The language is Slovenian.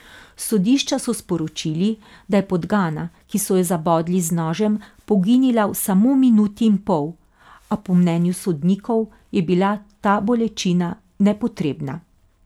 S sodišča so sporočili, da je podgana, ki so jo zabodli z nožem, poginila v samo minuti in pol, a po mnenju sodnikov je bila ta bolečina nepotrebna.